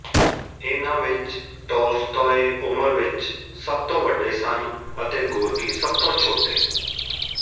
ਇਹਨਾਂ ਵਿੱਚ ਤੋਲਸਤੋਏ ਉਮਰ ਵਿੱਚ ਸਭ ਤੋਂ ਵੱਡੇ ਸਨ ਅਤੇ ਗੋਰਕੀ ਸਭ ਤੋਂ ਛੋਟੇ